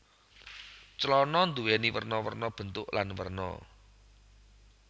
Clana nduwèni werna werna bentuk lan werna